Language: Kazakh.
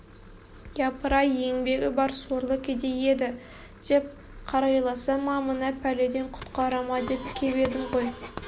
япырай еңбегі бар сорлы кедей еді деп қарайласа ма мына пәледен құтқара ма деп кеп едім ғой